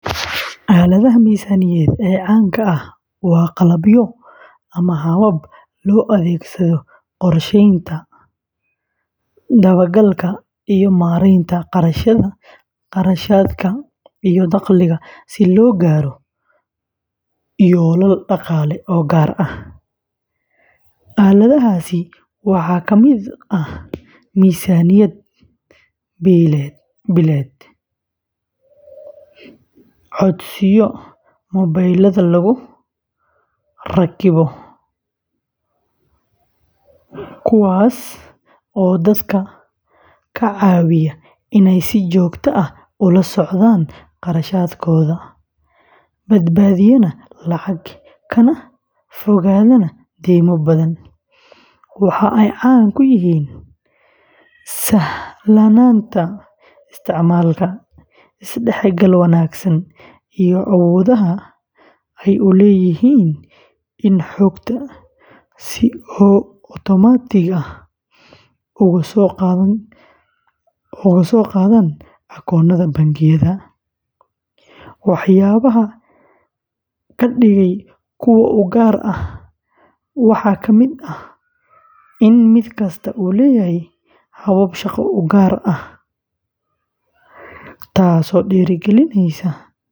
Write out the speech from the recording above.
Aaladaha miisaaniyadeed ee caanka ah waa qalabyo ama habab loo adeegsado qorsheynta, dabagalka, iyo maareynta kharashaadka iyo dakhliga si loo gaaro yoolal dhaqaale oo gaar ah. Aaladahaasi waxaa ka mid ah miisaaniyad billeed, codsiyo mobilada lagu rakibo kuwaas oo dadka ka caawiya inay si joogto ah ula socdaan kharashaadkooda, badbaadiyaan lacag, kana fogaadaan deymo badan. Waxa ay caan ku yihiin sahlanaanta isticmaalka, isdhexgal wanaagsan, iyo awoodda ay u leeyihiin in xogta si otomaatig ah uga soo qaadaan akoonnada bangiyada. Waxyaabaha ka dhigaya kuwo u gaar ah waxaa kamid ah in mid kasta uu leeyahay hab shaqo oo gaar ah, taasoo dhiirrigelisa.